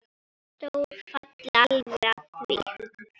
Sjór falli alveg að því.